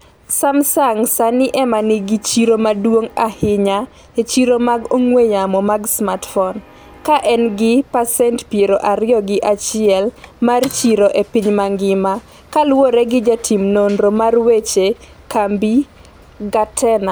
Samsung sani ema nigi chiro maduong' ahinya e chiro mag ong'we yamo mag smartphone, ka en gi pasent piero ariyo gi achiel mar chiro e piny mangima, kaluwore gi jatim norno mar weche kambi Gartner.